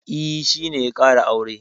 E, shi ne ya ƙara aure.